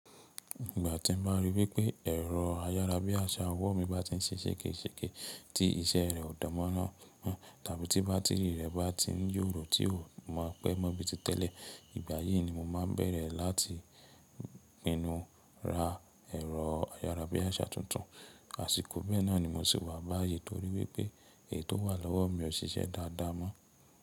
Ìgbà tí n bá ríi wípé ẹ̀rọ ayára bí àṣá ọwọ́ mi bá tí ń ṣe ṣègéṣègé tí iṣẹ́ rẹ ò dárá mọ́ tàbí tí bátìrì rẹ bá tí ń yòrò tí ò mọ pé mọ́ bíi ti tẹ́lẹ̀, ìgbà yìí ni mo máa bẹ̀rẹ̀ láti pinnu ra ẹ̀rọ ayára bí àṣá tuntun. Àsìkò bẹ́ẹ̀ náà ni mo sì maá mu aayẹ torí wípé èyí tó wà lọ́wọ́ mi ò ń ṣiṣẹ́ dáadáa mọ́.